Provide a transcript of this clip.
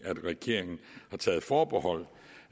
regeringen har taget forbehold